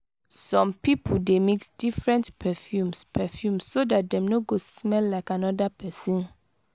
some pipo de mix different perfumes perfumes so that dem no go smell like another person